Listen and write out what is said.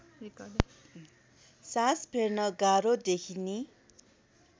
सास फेर्न गाह्रो देखिने